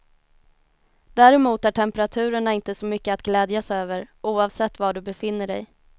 Däremot är temperaturerna inte så mycket att glädjas över, oavsett var du befinner dig.